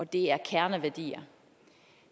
det er kerneværdier